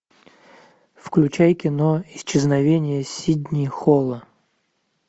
включай кино исчезновение сидни холла